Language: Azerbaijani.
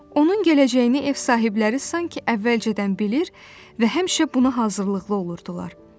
Onun gələcəyini ev sahibləri sanki əvvəlcədən bilir və həmişə buna hazırlıqlı olurdular.